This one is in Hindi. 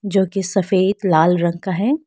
जो की सफेद लाल रंग का है।